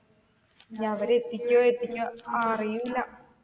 ഇനി അവര് എത്തിഎത്തിക്കോ അഹ് അറിയില്ല.